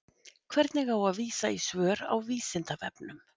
Hvernig á að vísa í svör á Vísindavefnum?